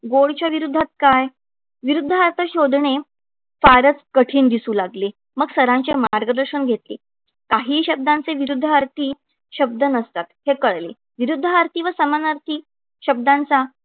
गोडच्या विरूद्धात काय? विरुद्ध अर्थ शोधणे फारच कठीण दिसू लागले. मग सरांचे मार्गदर्शन घेतले. काही शब्दांचे विरूद्ध अर्थी शब्द नसतात हे कळले. विरुद्धार्थी व समानार्थी शब्दांचा